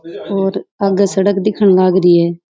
और आगे सड़क दिखन लाग रही है।